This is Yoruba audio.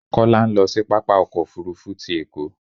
Kọ́lá ń lọ sí pápá ọkọ̀ òfuurufú ti Èkó